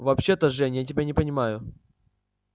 вообще-то жень я тебя не понимаю